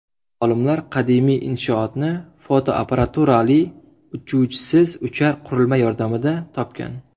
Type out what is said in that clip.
Olimlar qadimiy inshootni fotoapparaturali uchuvchisiz uchar qurilma yordamida topgan.